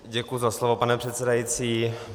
Děkuji za slovo, pane předsedající.